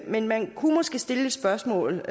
men man kunne måske stille et spørgsmål